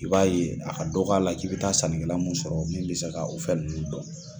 I b'a ye a ka dɔkɔ a la k'i bi taa sanni mun sɔrɔ min bi se ka o fɛn nunnu dɔn.